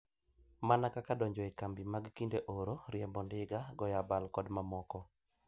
Mana kaka donjo e kambi mag kinde oro, riembo ndiga, goyo abal kod mamoko.